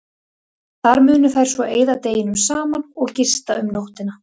Þar munu þær svo eyða deginum saman og gista um nóttina.